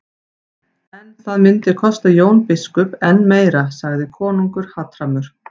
En það myndi kosta Jón biskup enn meira, sagði konungur hatrammur.